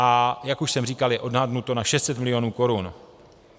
A jak už jsem říkal, je odhadnuto na 600 milionů korun.